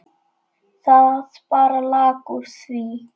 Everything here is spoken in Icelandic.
Það bara lak úr því.